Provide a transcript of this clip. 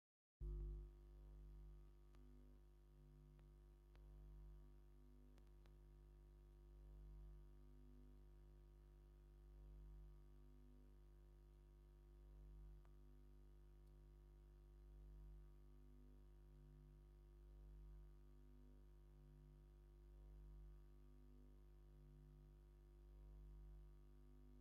ኣብዚ ብዙሓት ተማሃሮ ኣብ ሓደ ክፍሊ ኮፍ ኢሎም ብጽፉፍ ክጽሕፉ ይረኣዩ። ኩሎም ተምሃሮ ኣራንሺ ናይ ቤት ትምህርቲ ዩኒፎርም ተኸዲኖም፣ ገሊኦም ሕብራዊ ናይ ቤት ትምህርቲ ዩኒፎርም ተኸዲኖም እዮም። ኣብዚ ዝረአ ዘለዉ ተምሃሮ እንታይ ይገብሩ ኣለዉ?